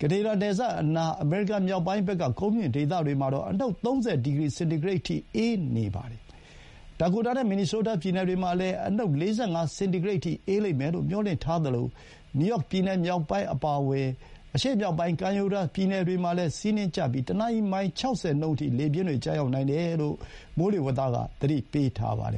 ကနေဒါ နယ်စပ်အနား အမေရိကန် မြောက်ပိုင်းဘက်က ကုန်းမြင့်ဒေသတွေမှာတော့ အနုတ် ၃၀ စင်တီဂရိတ်အထိ အေးနေပါတယ်။ ဒါကိုတာနဲ့ မင်နီဆိုးတား ပြည်နယ်တွေမှာလည်း အနုတ် ၄၅ စင်တီဂရိတ်အထိ အေးလိမ့်မယ်လို့ မျှော်လင့်ထားသလို နယူးယောက်ပြည်နယ်မြောက်ပိုင်း အပါအဝင် အရှေ့မြောက်ပိုင်း ကမ်းရိုးတန်း ပြည်နယ်တွေမှာလည်း ဆီးနှင်းကျပြီး တနာရီ မိုင် ၆၀ နှုန်းအထိ လေပြင်းကျရောက်နိုင်တယ်လို့ မိုးလေဝသက သတိပေးထားပါတယ်